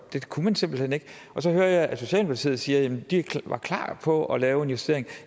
det kunne man simpelt hen ikke og så hører jeg at socialdemokratiet siger at de var klar på at lave en justering og